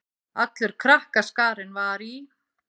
Allur krakkaskarinn var í